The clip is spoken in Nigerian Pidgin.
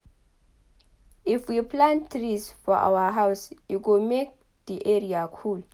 if we plant trees for our house e go make di area cool